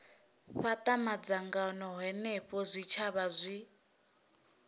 fhata madzangano henefho zwitshavha zwi